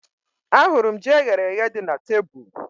Ahụrụ m ji eyere èyé dị na tebụl